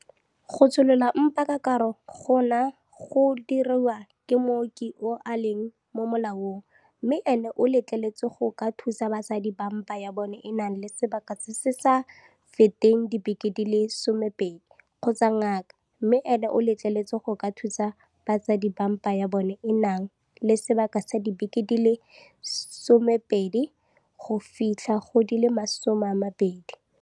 Go tsholola mpa ka karo gona go diriwa ke mooki yo a leng mo molaong, mme ene o letleletswe go ka thusa basadi ba mpa ya bona e nang le sebaka se se sa feteng dibeke di le 12, kgotsa ngaka, mme ene o letleletswe go ka thusa basadi ba mpa ya bona e nang le sebaka sa dibeke di le 12 go fitlha go di le 20.